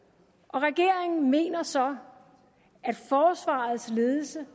regeringen mener så at forsvarets ledelse